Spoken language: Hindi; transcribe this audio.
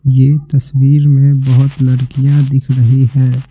ये तस्वीर में बहुत लड़कियां दिख रही है।